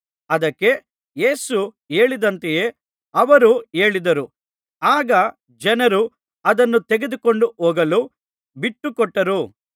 ಅದಕ್ಕೆ ಯೇಸು ಹೇಳಿದಂತೆಯೇ ಅವರು ಹೇಳಿದರು ಆಗ ಜನರು ಅದನ್ನು ತೆಗೆದುಕೊಂಡು ಹೋಗಲು ಬಿಟ್ಟುಕೊಟ್ಟರು